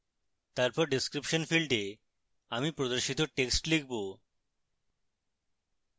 তারপর description ফীল্ডে আমি প্রদর্শিত text লিখব